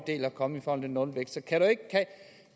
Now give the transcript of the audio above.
er kommet med om nulvækst